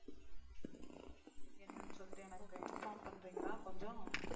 என்னன்னு சொல்லிட்டு எனக்கு inform பண்றீங்களா கொஞ்சம்